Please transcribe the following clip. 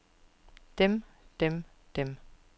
dem dem dem